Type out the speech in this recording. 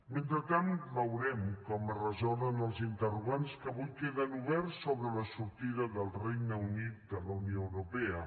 mentrestant veurem com es resolen els interrogants que avui queden oberts sobre la sortida del regne unit de la unió europea